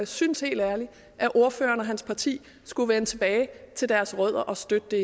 synes helt ærligt at ordføreren og hans parti skulle vende tilbage til deres rødder og støtte det